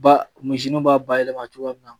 Ba misi nun b'a bayɛlɛma cogoya min na